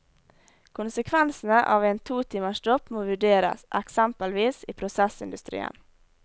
Konsekvensene av en to timers stopp må vurderes, eksempelvis i prosessindustrien.